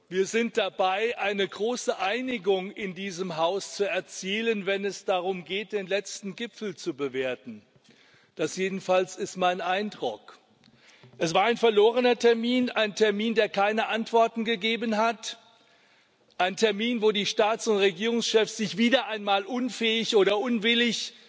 Wir sind dabei, eine große Einigung in diesem Haus zu erzielen, wenn es darum geht, den letzten Gipfel zu bewerten. Das jedenfalls ist mein Eindruck. Es war ein verlorener Termin ein Termin, der keine Antworten gegeben hat, ein Termin, wo die Staats und Regierungschefs sich wieder einmal unfähig oder unwillig